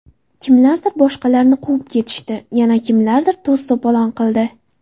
Kimlardir boshqalarni quvib ketishdi, yana kimlardir to‘s-to‘polon qildi.